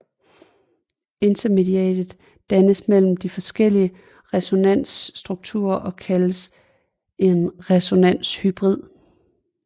Intermediatet dannes mellem de forskellige resonansstrukturer og kaldes en resonanshybrid